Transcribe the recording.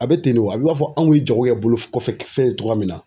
A bɛ ten de o a bɛ i n'a fɔ anw ye jago kɛ bolo kɔfɛ fɛn ye cogoya min na.